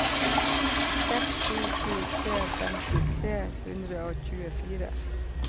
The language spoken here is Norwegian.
seks sju sju tre femti tre hundre og tjuefire